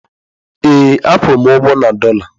Ee a kwụrụ m ụgwọ na dọla.